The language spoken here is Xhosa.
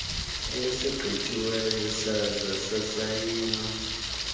esigqityiweyo saze sasayinwa